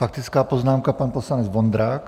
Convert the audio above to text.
Faktická poznámka, pan poslanec Vondrák.